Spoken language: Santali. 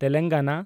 ᱛᱮᱞᱮᱝᱜᱟᱱᱟ